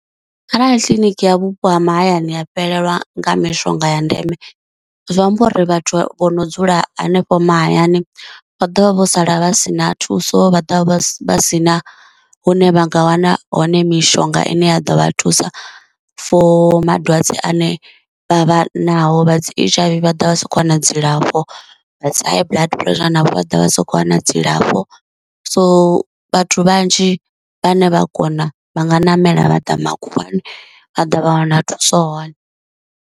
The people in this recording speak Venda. Kharali kiḽiniki ya vhupo ha mahayani ha fhelelwa nga mishonga ya ndeme, zwi amba uri vhathu vho no dzula hanefho mahayani vha ḓovha vho sala vha si na thuso, vha ḓovha vha si na hune vha nga wana hone mishonga ine ya ḓo vha thusa for madwadze ane vha vha nao, vha dzi H_I_V vha ḓovha vha sa khou wana dzilafho, vha dzi high blood pressure navho vha ḓovha vha sa khou wana dzilafho, so vhathu vhanzhi vhane vha kona vha nga namela vha ḓa makhuwani a ḓa vha wana thuso hone.